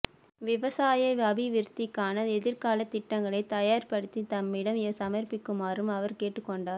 விவசாய அபிவிருத்திக்கான எதிர்காலத் திட்டங்களை தயார் படுத்தி தம்மிடம் சமர்ப்பிக்குமாறும் அவர் கேட்டுக்கொண்டார்